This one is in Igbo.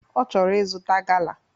Ochoro izuta gala.